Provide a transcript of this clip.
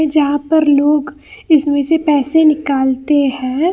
जहां पर लोग इसमें से पैसे निकालते हैं।